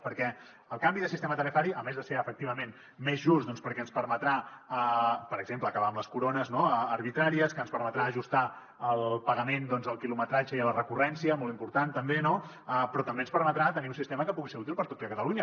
perquè el canvi de sistema tarifari a més de ser efectivament més just doncs perquè ens permetrà per exemple acabar amb les corones no arbitràries ens permetrà ajustar el pagament al quilometratge i a la recurrència molt important també però també ens permetrà tenir un sistema que pugui ser útil per a tot catalunya